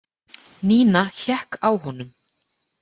Nína hékk á honum.